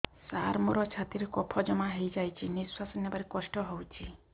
ସାର ମୋର ଛାତି ରେ କଫ ଜମା ହେଇଯାଇଛି ନିଶ୍ୱାସ ନେବାରେ କଷ୍ଟ ହଉଛି